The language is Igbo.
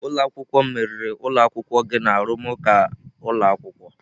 Ụlọ akwụkwọ m meriri ụlọ akwụkwọ gị na arụmụka ụlọ akwụkwọ.